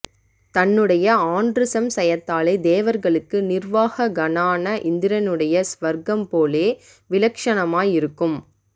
தன்னுடைய ஆன்ரு சம்சயத்தாலே தேவர்களுக்கு நிர்வாஹகனான இந்திரனுடைய ஸ்வர்க்கம் போலே விலக்ஷணமாய் இருக்கும்